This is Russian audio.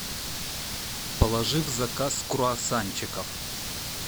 положи в заказ круассанчиков